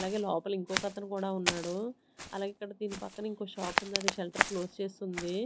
అలాగే లోపల ఇంకొక అతను కూడా ఉన్నాడు అలాగే ఇక్కడ దీని పక్కన ఇంకో షాప్ ఉంది అది షెల్టర్ క్లోజ్ చేసి ఉంది.